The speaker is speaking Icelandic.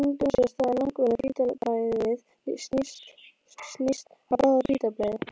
Stundum á sér stað að langvinna hvítblæðið snýst í bráða-hvítblæði.